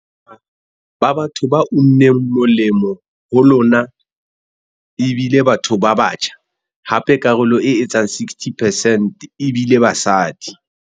Bongata ba batho ba unneng molemo ho lona e bile batho ba batjha, hape karolo e etsang 60 percent e bile basadi.